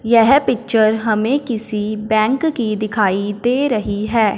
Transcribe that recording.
यह पिक्चर हमें किसी बैंक की दिखाई दे रही है।